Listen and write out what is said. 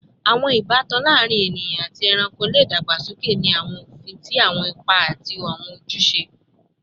Awọn ibatan laarin eniyan ati ẹranko le dagbasoke ni awọn ofin ti awọn ipa ati awọn ojuse